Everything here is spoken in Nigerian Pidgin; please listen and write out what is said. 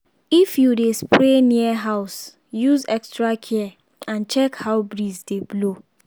if you dey spray near house use extra care and check how breeze dey blow